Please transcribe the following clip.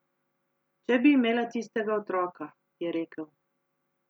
Če bi imela tistega otroka, je rekel.